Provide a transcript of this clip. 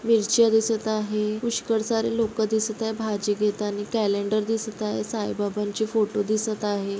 मिरच्या दिसत आहे पुष्कळ सारे लोकं दिसत आहे भाजी घेतानी कॅलेंडर दिसत आहे साईबाबांची फोटो दिसत आहे.